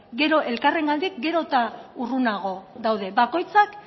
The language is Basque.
gero elkarrengandik gero eta urrunago daude bakoitzak